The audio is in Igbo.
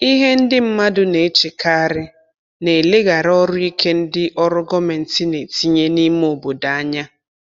Ihe ndị mmadụ na-echekarị na-eleghara ọrụ ike ndị ọrụ gọmenti na-etinye n’ime obodo anya.